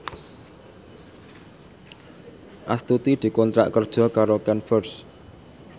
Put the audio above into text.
Astuti dikontrak kerja karo Converse